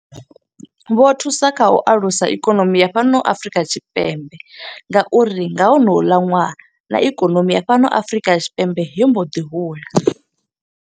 Vho thusa kha u alusa ikonomi ya fhano Afurika Tshipembe nga uri nga honoula ṅwaha, na ikonomi ya fhano Afrika Tshipembe yo mbo ḓi hula.